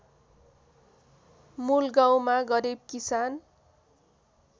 मूलगाउँमा गरिब किसान